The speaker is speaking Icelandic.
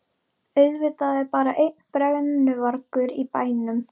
Auðvitað er bara einn brennuvargur í bænum!